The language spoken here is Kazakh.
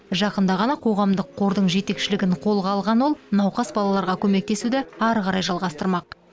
жақында ғана қоғамдық қордың жетекшілігін қолға алған ол науқас балаларға көмектесуді әрі қарай жалғастырмақ